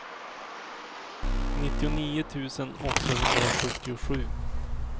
nittionio tusen åttahundrasjuttiosju